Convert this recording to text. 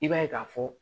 I b'a ye k'a fɔ